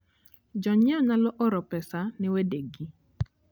Jonyiewo nyalo oro pesa ne wedegi.